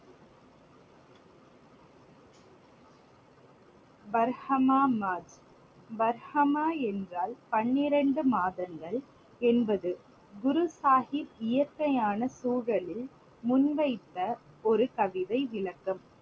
பர்கமாமத். பர்கமா என்றால் பன்னிரண்டு மாதங்கள் என்பது. குரு சாஹிப் இயற்கையான சூழலில் முன் வைத்த ஒரு கவிதை விளக்கம்.